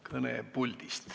Kõne puldist.